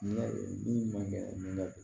Ne bin man kɛ manjɛ